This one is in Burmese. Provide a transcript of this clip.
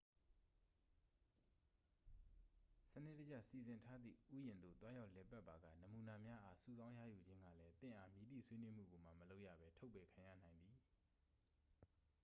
"စနစ်တကျ စီစဉ်ထားသည့် ဥယာဉ်သို့ သွားရောက်လည်ပတ်ပါက "နမူနာများအား" စုဆောင်းရယူခြင်းကလည်း သင့်အား မည်သည့်ဆွေးနွေးမှုကိုမှ မလုပ်ရဘဲ ထုတ်ပယ်ခံရနိုင်သည်။